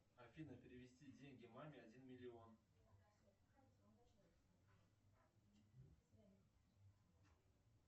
афина перевести деньги маме один миллион